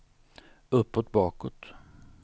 uppåt bakåt